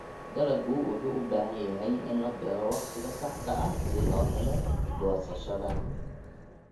Dalaggu wuxuu u baahan yahay in la beero wakhtiga saxda ah si loo helo goosashada.